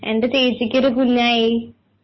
എന്റെ ചേച്ചിക്ക് ഒരു കുഞ്ഞായി